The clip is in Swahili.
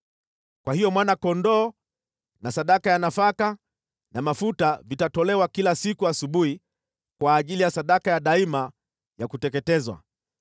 Kwa hiyo mwana-kondoo na sadaka ya nafaka na mafuta vitatolewa kila siku asubuhi kwa ajili ya sadaka ya daima ya kuteketezwa.